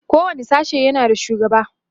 kowani sashe yana da shugaba